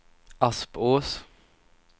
Aspås